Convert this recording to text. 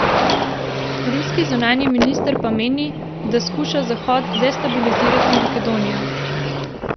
Ruski zunanji minister pa meni, da skuša Zahod destabilizirati Makedonijo.